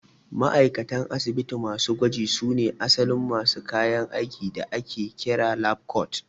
Ma'aikatan asibiti masu gwaji su ne asalin masu kayan aikin da ake kira 'lab coat'